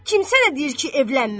Kim sənə deyir ki, evlənmə?